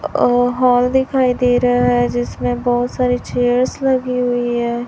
अह hall दिखाई दे रहा है जिसमें बहुत सारी चेयर्स लगी हुई है।